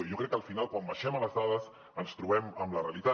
i jo crec que al final quan baixem a les dades ens trobem amb la realitat